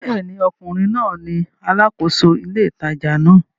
Bẹ́ẹ̀ ni, ọkùnrin náà ni alákòóso ile ìtajà náà